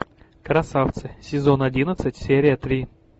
красавцы сезон одиннадцать серия три